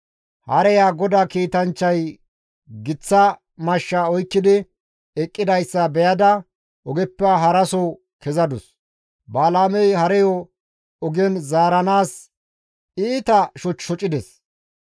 Hareya GODAA kiitanchchay giththa mashsha oykkidi eqqidayssa beyada ogeppe haraso kezadus. Balaamey hareyo ogen zaaranaas iita shoch shocides.